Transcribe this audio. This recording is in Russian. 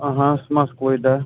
ага с москвой да